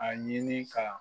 A ɲini ka